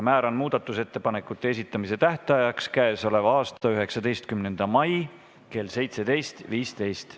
Määran muudatusettepanekute esitamise tähtajaks k.a 19. mai kell 17.15.